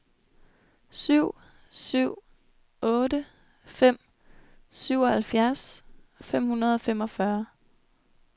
syv syv otte fem syvoghalvfjerds fem hundrede og femogfyrre